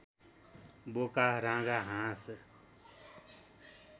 बोका राँगा हाँस